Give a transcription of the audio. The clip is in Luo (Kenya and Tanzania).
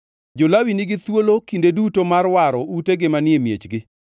Jo-Lawi nigi thuolo kinde duto mar waro utegi manie miechgi.